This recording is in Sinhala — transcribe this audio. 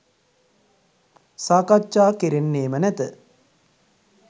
සාකච්ඡා කෙරෙන්නේම නැත